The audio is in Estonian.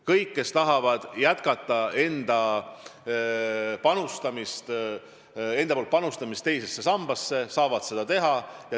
Kõik, kes tahavad jätkata enda poolt panustamist teise sambasse, saavad seda teha.